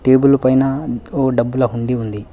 Table పైన ఓ డబ్బుల హుండీ ఉంది.